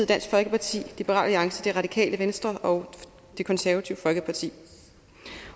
dansk folkeparti liberal alliance det radikale venstre og det konservative folkeparti